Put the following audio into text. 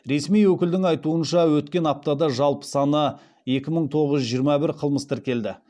ресми өкілдің айтуынша өткен аптада жалпы саны екі мың тоғыз жүз жиырма бір қылмыс тіркелді